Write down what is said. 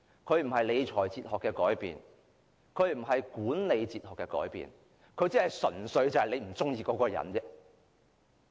這並非理財哲學的改變，亦不是管理哲學的改變，他只是純粹不喜歡一個人。